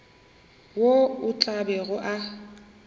wo o tla bego o